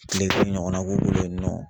Kile duuru ɲɔgɔnna k'u bolo yen nɔ